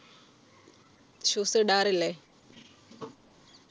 shoes ഇടാറില്ലേ